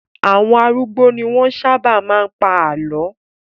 Àwọn arúgbó ni wọ́n sábà máa ń pa àlọ́.